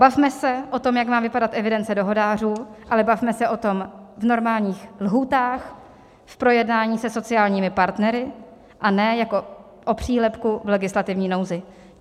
Bavme se o tom, jak má vypadat evidence dohodářů, ale bavme se o tom v normálních lhůtách, v projednání se sociálními partnery, a ne jako o přílepku v legislativní nouzi.